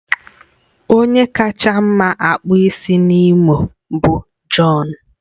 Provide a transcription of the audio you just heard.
Onye kacha mma akpụ isi na Imo bụ John